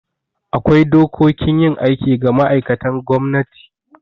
Akwai dokokin yin aiki ga ma'aikatan gwamnati